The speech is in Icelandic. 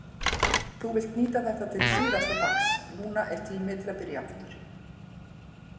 Þú vilt nýta þetta til síðasta dags, núna er tími til að byrja aftur.